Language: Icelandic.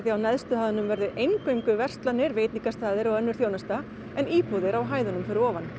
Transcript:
á neðstu hæðunum verði eingöngu verslanir veitingastaðir og annars konar þjónusta en íbúðir á hæðunum fyrir ofan